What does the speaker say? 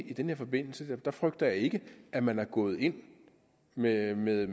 i den her forbindelse frygter jeg ikke at man er gået ind med med